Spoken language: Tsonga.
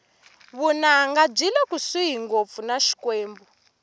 vunanga byile kusuhi ngopfu na xikwembu